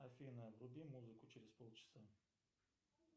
афина вруби музыку через полчаса